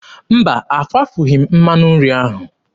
Mba, akwafughị m mmanụ nri ahụ.